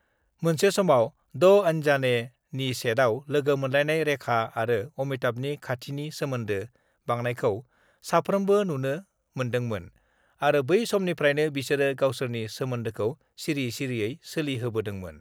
मोनसे समाव 'दो आनजाने' नि सेटआव लोगो मोनलायनाय रेखा आरो अमिताभनि खाथिनि सोमोन्दो बांनायखौ साफोमब्रो नुनो मोन्दोंमोन आरो बै समनिफ्रायनो बिसोरो गावसोरनि सोमोन्दोखौ सिरि सिरियै सोलिहोबोदोंमोन।